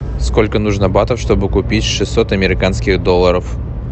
сколько нужно батов чтобы купить шестьсот американских долларов